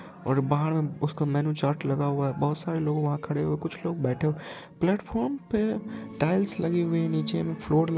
और बाहर में उसका मेनू चार्ट लगा हुआ है बहुत सारे लोग वहा खड़े हुए--कुछ लोग बैठे हुए-- प्लेटफ़ॉर्म पे टाइल्स लगी हुयी है नीचे में फ्लोर--